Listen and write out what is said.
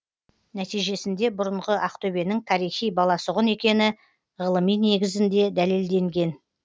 нәтижесінде бұрынғы ақтөбенің тарихи баласағұн екені ғылыми негізінде дәлелденген